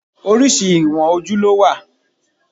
Oríṣi ìwọ̀n ojú ló wà.